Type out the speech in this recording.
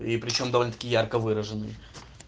и причём довольно ярко выраженный